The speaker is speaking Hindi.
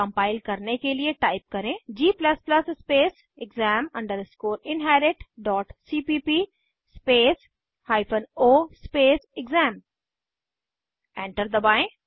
कम्पाइल करने के लिए टाइप करें g स्पेसexam inheritcpp space o space exam enter दबाएं